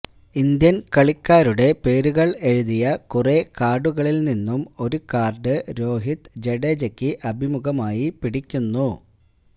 Indian കളിക്കാരുടെ പേരുകൾ എഴുതിയ കുറേ കാർഡുകളിൽ നിന്നും ഒരു കാർഡ് രോഹിത് ജഡേജയ്ക്ക് അഭിമുഖമായി പിടിക്കുന്നു